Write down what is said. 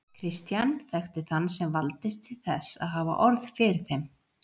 Christian þekkti þann sem valdist til þess að hafa orð fyrir þeim.